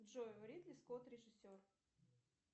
джой ридли скотт режиссер